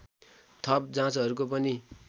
थप जाँचहरूको पनि